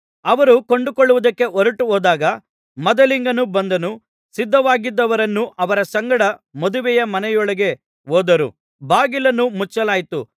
ಅವರು ಕೊಂಡುಕೊಳ್ಳುವುದಕ್ಕೆ ಹೊರಟುಹೋದಾಗ ಮದಲಿಂಗನು ಬಂದನು ಸಿದ್ಧವಾಗಿದ್ದವರು ಅವನ ಸಂಗಡ ಮದುವೆಯ ಮನೆಯೊಳಗೆ ಹೋದರು ಬಾಗಿಲನ್ನು ಮುಚ್ಚಲಾಯಿತು